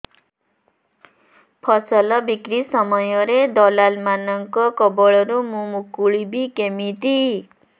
ଫସଲ ବିକ୍ରୀ ସମୟରେ ଦଲାଲ୍ ମାନଙ୍କ କବଳରୁ ମୁଁ ମୁକୁଳିଵି କେମିତି